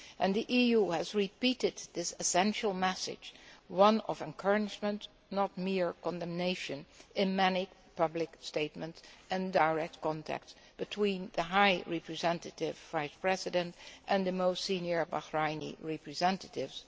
The EU has repeated this essential message one of encouragement, not mere condemnation in many public statements and direct contacts between the High Representative Vice President and the most senior Bahraini representatives.